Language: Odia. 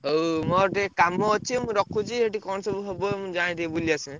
ହଉ ମୋର ଟିକେ କାମ ଅଛି ମୁଁ ରଖୁଛି ଯଦି କଣ ସବୁ ହବ ମୁଁ ଯାଏଁ ଟିକେ ବୁଲି ଆସେ।